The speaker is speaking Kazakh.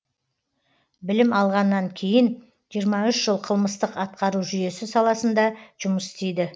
білім алғаннан кейін жиырма үш жыл қылмыстық атқару жүйесі саласында жұмыс істейді